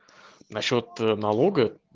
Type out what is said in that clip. насчёт ээ налога